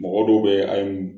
Mɔgɔ dɔw be yen an ye